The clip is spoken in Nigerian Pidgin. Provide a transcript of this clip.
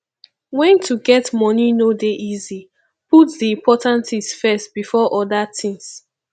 when to get money no dey easy put di important things first before oda things